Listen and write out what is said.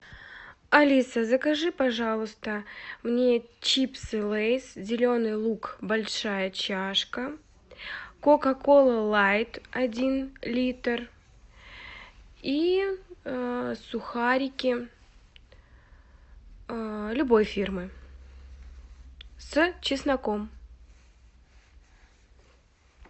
алиса закажи пожалуйста мне чипсы лейс зеленый лук большая чашка кока кола лайт один литр и сухарики любой фирмы с чесноком